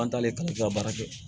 An t'ale kalan baara kɛ